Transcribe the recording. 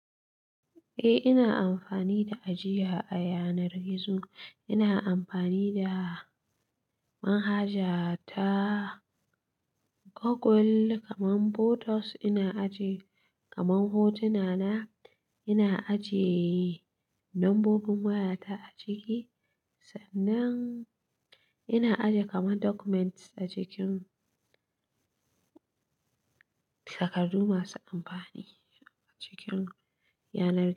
Eh ina amfani da ajiya a yanar gizo. Ina amfani da manhaja ta Google kaman photos ina ajiye, kaman hotuna na, ina ajiye lambobin waya ta a ciki, sannan ina ajiye kaman documents a cikin takardu masu amfani a cikin yanar gizo.